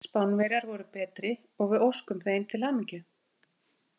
Spánverjar voru betri og við óskum þeim til hamingju.